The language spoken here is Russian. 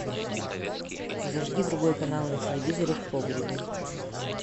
зажги другой канал на телевизоре в погребе